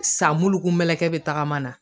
San bulu kun bɛ kɛ bɛ tagama na